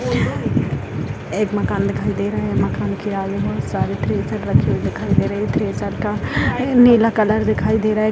एक मकान दिखाई दे रहा है मकान के आगे बहुत सारे थ्रेसर रखे हुए दिखाई दे रहा है थ्रेसर का नीला कलर दिखाई दे रहा है।